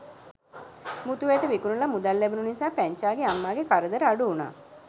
මුතු ඇට විකුණලා මුදල් ලැබුණ නිසා පැංචාගේ අම්මාගේ කරදර අඩු වුණා.